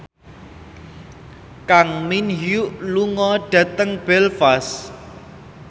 Kang Min Hyuk lunga dhateng Belfast